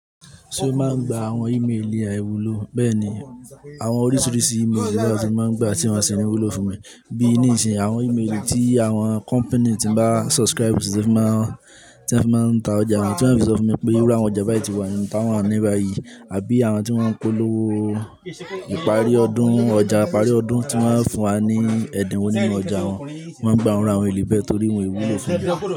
Ṣé o máa ń gba àwọn imeeli aìwúlò? Bẹ́ẹ̀ni, àwọn oríṣiríṣi imeeli ni láti máa ń gba tí wọ́n ṣi ńi wúlò fún mi. Bí nisìn, àwọn imeeli tí àwọn company tí mo bá subscribe si to fi máa ń, tí won fi máa ń ta ọjà wọn, tí wọ́n fi sọ fún mi pé irú àwọn ọjà báyìí ti wà, ìta wọn wà ní báyìí àbí àwọn tí wọ́n ń polówó ìparí ọdún ọjà, ìparí ọdún tí wọ́n máa ń fún wa ní ẹ̀dínwó nínú ọjà wọn. Mọ́ máa ń gba àwọn iru imeeli bẹ́ẹ̀ torí wọ́n wúlò fún mi.